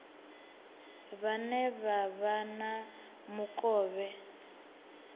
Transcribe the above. vhane vha vha na mukovhe